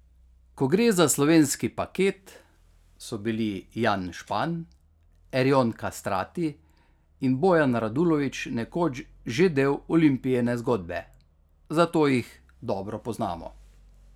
Ko gre za slovenski paket, so bili Jan Špan, Erjon Kastrati in Bojan Radulović nekoč že del Olimpijine zgodbe, zato jih dobro poznamo.